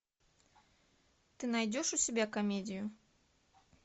ты найдешь у себя комедию